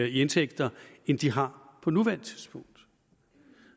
i indtægt end de har på nuværende tidspunkt